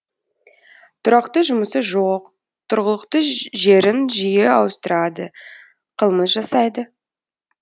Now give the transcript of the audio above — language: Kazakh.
тұрақты жұмысы жоқ тұрғылықты жерін жиі ауыстырады қылмыс жасайды